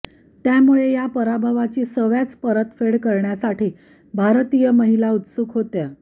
त्यामुळे या पराभवाची सव्याज परतफेड करण्यासाठी भारतीय महिला उत्सुक होत्या